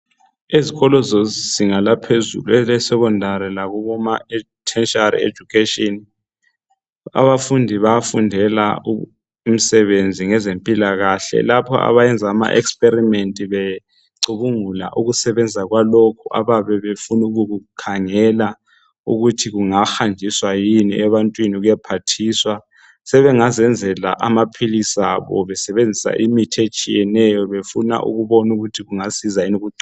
ezikolo zezinga laphezulu ele secondary lakuboma tertiary education abafundi bayafundela imsebenzi ngezempilakahle lapho abayenza ama experiment becubungula ukusebenza kwalokhu abayabe befuna ukukhangela ukuthi kungahanjiswa yini ebantwini kuyephathisa sebengazenzela amaphilisi abo besebenzisa imithi etshiyeneyo befuna ukubona ukuthi kungasiza yini